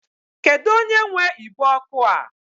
Kedu onye nwe igbe ọkụ a?